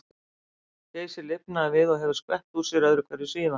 Geysir lifnaði við og hefur skvett úr sér öðru hverju síðan.